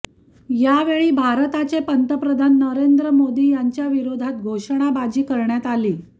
यावेळी भारताचे पंतप्रधान नरेंद्र मोदी यांच्याविरोधात घोषणाबाजी करण्यात आली